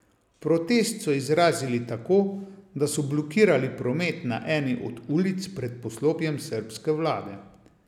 Protest so izrazili tako, da so blokirali promet na eni od ulic pred poslopjem srbske vlade.